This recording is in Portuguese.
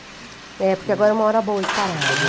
É, porque agora é uma hora boa de parar, né?